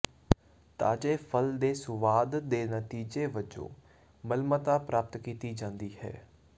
ਤਾਜ਼ੇ ਫਲ ਦੇ ਸੁਆਦ ਦੇ ਨਤੀਜੇ ਵਜੋਂ ਮਲਮਤਾ ਪ੍ਰਾਪਤ ਕੀਤੀ ਜਾਂਦੀ ਹੈ